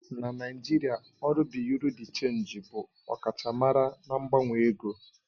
Na Naijiria, ọrụ Bị́yurị́ dị́ Chénjị bụ ọkachamara na mgbanwe ego.